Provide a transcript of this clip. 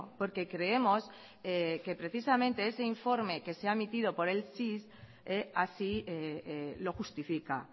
porque creemos que precisamente ese informe que se ha emitido por el cis así lo justifica